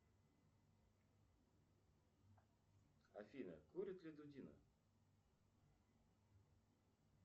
афина курит ли дудина